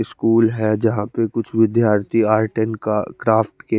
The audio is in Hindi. स्कूल है जहा पर कुछ विध्यार्थी आर टेल का क्राफ्ट के--